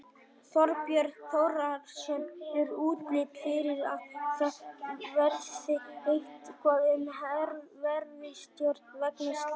Þorbjörn Þórðarson: Er útlit fyrir að það verði eitthvað umhverfistjón vegna slyssins?